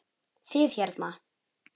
Þið hérna.